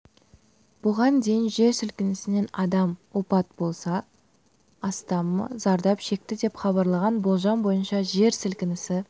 бұған дейін жер сілкінісінен адам опат болса астамы зардап шекті деп хабарланған болжам бойынша жер сілкінісі